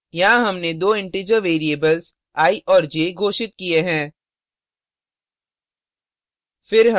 यहाँ हमने दो integer variables i और j घोषित की हैं